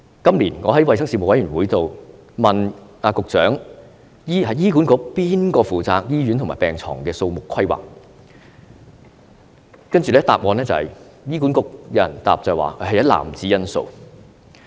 今年，我在衞生事務委員會上問局長，醫管局誰人負責醫院和病床的數目規劃，接着醫管局有人答覆，說要考慮一籃子因素。